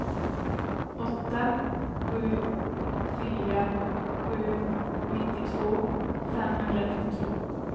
åtta sju fyra sju nittiotvå femhundranittiotvå